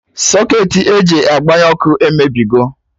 Socketị e ji agbanye ọkụ emebigo